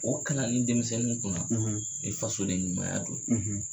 O kalanni denmisɛnnu kuna i fasoden ɲumanya dɔ ye